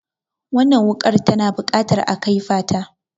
Wannan wuƙar tana buƙatar a kaifata.